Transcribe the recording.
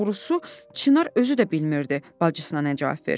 Doğrusu, Çinar özü də bilmirdi bacısına nə cavab versin.